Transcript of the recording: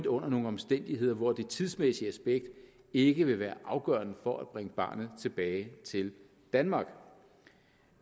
under nogle omstændigheder hvor det tidsmæssige aspekt ikke vil være afgørende for at bringe barnet tilbage til danmark